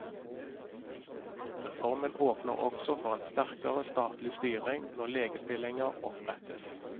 Reformen åpner også for en sterkere statlig styring når legestillinger opprettes.